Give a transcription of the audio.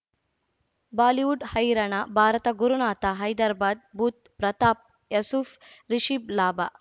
Bollywood ಹೈರಾಣ ಭಾರತ ಗುರುನಾಥ ಹೈದರಾಬಾದ್ ಬುಧ್ ಪ್ರತಾಪ್ ಯಸುಫ್ ರಿಷಬ್ ಲಾಭ